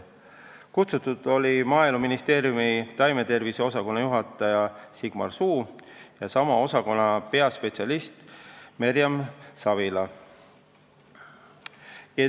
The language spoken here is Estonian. Kutsutud oli Maaeluministeeriumi taimetervise osakonna juhataja Sigmar Suu ja sama osakonna peaspetsialist Merjan Savila.